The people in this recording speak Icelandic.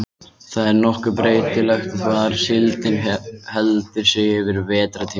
Það er nokkuð breytilegt hvar síldin heldur sig yfir vetrartímann.